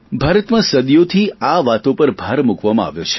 ભારતમાં સદીઓથી આ વાતો પર ભાર મૂકવામાં આવ્યો છે